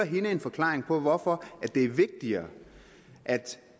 en forklaring på hvorfor det er vigtigere at